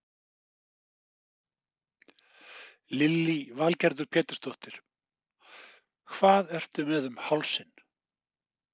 Lillý Valgerður Pétursdóttir: Og hvað ertu með um hálsinn?